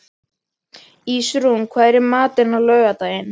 Ísrún, hvað er í matinn á laugardaginn?